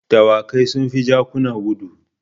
Dawakai sun fi jakuna gudu.